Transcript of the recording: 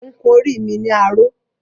Mo ń kun orí mi ni aró